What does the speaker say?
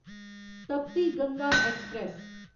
तपती गंगा ऐक्सप्रैस